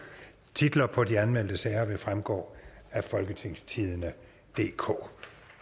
titler på de anmeldte sager vil fremgå af folketingstidende DK